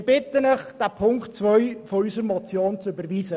Wir bitten Sie, Ziffer 2 unserer Motion zu überweisen.